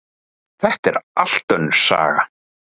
Þetta er allt önnur saga!